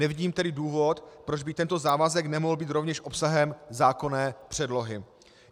Nevidím tedy důvod, proč by tento závazek nemohl být rovněž obsahem zákonné předlohy.